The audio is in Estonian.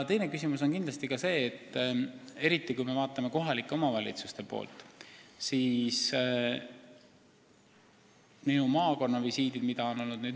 Probleem on muidugi ka see, eriti kui me vaatame kohalike omavalitsuste tegevust, siis selles on ikkagi märkimisväärset ebaühtlust.